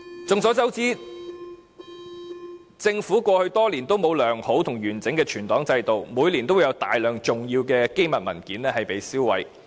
眾所周知，政府過去多年都沒有良好和完整的存檔制度，每年都會有大量重要機密文件被銷毀。